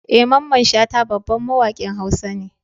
Eh Mamman shata babban mawakin hausa ne.